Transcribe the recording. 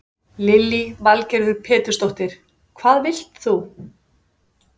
Lillý Valgerður Pétursdóttir: Hvað vilt þú?